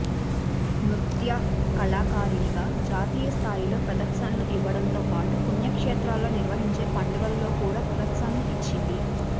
నృత్య కళాకారిణిగా జాతీయ స్థాయిలో ప్రదర్శనలు ఇవ్వడంతోపాటు పుణ్యక్షేత్రాల్లో నిర్వహించే పండుగల్లో కూడా ప్రదర్శనలు ఇచ్చింది